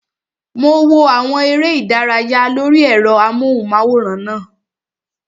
Mo wo àwọn eré ìdárayá lórí ẹ̀rọ amóhùnmáwòrán náà